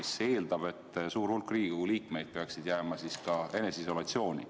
See eeldab, et suur hulk Riigikogu liikmeid peaks jääma eneseisolatsiooni.